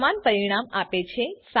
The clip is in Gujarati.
તે સમાન પરિણામ આપે છે